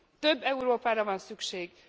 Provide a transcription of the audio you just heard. Több Európára van szükség!